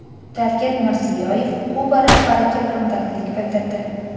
Shavkat Mirziyoyev Kuba rahbariga hamdardlik bildirdi.